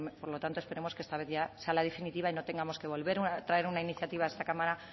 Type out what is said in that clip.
por lo tanto esperemos que esta vez ya sea la definitiva y no tengamos que volver a traer una iniciativa a esta cámara